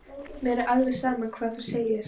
Mér er alveg sama hvað þú segir.